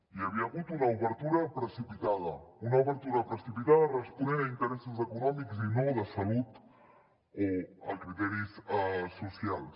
hi havia hagut una obertura precipitada una obertura precipitada responent a interessos econòmics i no de salut o a criteris socials